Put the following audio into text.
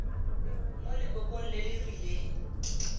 mo lekokong le le rileng